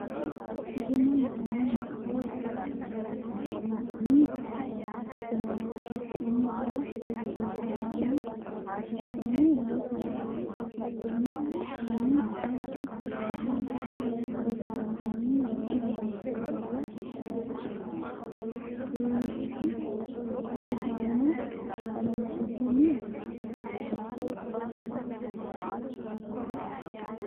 guma yitano misile la’anni jawaachishinsa Rosaano la’ini? Rosaano la’inni? Hanni ayeeti kulannoehu? Rosaano hanni woroonni noo qaalla Rss: Rosaano ha’runsitini?